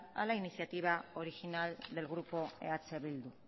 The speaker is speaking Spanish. a la iniciativa original del grupo eh bildu